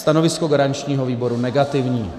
Stanovisko garančního výboru negativní.